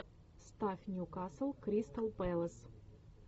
ставь ньюкасл кристал пэлас